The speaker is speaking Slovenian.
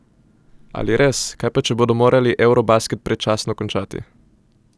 Ali res, kaj pa če bodo morali eurobasket predčasno končati?